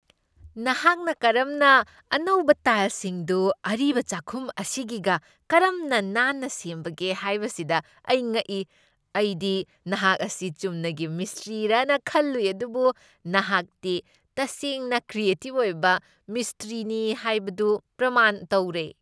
ꯅꯍꯥꯛꯅ ꯀꯔꯝꯅ ꯑꯅꯧꯕ ꯇꯥꯏꯜꯁꯤꯡꯗꯨ ꯑꯔꯤꯕ ꯆꯥꯛꯈꯨꯝ ꯑꯁꯤꯒꯤꯒ ꯀꯔꯝꯅ ꯅꯥꯟꯅ ꯁꯦꯝꯕꯒꯦ ꯍꯥꯏꯕꯁꯤꯗ ꯑꯩ ꯉꯛꯏ꯫ ꯑꯩꯗꯤ ꯅꯍꯥꯛ ꯑꯁꯤ ꯆꯨꯝꯅꯒꯤ ꯃꯤꯁꯇ꯭ꯔꯤꯔꯅ ꯈꯜꯂꯨꯏ ꯑꯗꯨꯕꯨ ꯅꯍꯥꯛꯇꯤ ꯇꯁꯦꯡꯅ ꯀ꯭ꯔꯤꯌꯦꯇꯤꯚ ꯑꯣꯏꯕ ꯃꯤꯁꯇ꯭ꯔꯤꯅꯤ ꯍꯥꯏꯕꯗꯨ ꯄ꯭ꯔꯃꯥꯟ ꯇꯧꯔꯦ꯫